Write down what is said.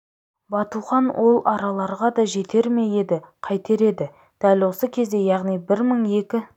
батухан ол араларға да жетер ме еді қайтер еді дәл осы кезде яғни бір мың екі